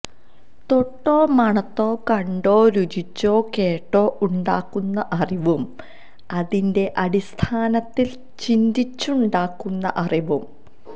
തൊട്ടോ മണത്തോ കണ്ടോ രുചിച്ചോ കേട്ടോ ഉണ്ടാക്കുന്ന അറിവും അതിന്റെ അടിസ്ഥാനത്തില് ചിന്തിച്ചുണ്ടാക്കുന്ന അറിവും